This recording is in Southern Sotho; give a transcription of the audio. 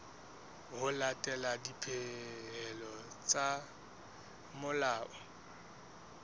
ho latela dipehelo tsa molao